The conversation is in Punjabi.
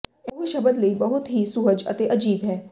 ਉਹ ਸ਼ਬਦ ਲਈ ਬਹੁਤ ਹੀ ਸੁਹਜ ਅਤੇ ਅਜੀਬ ਹੈ